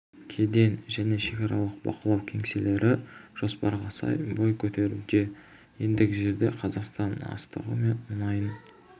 кеден және шекаралық бақылау кеңселері жоспарға сай бой көтеруде ендігі жерде қазақстан астығы мен мұнайын